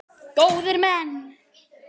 Góðir menn!